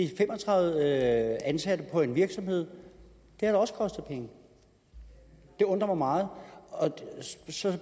fem og tredive ansatte på en virksomhed har da også kostet penge det undrer mig meget så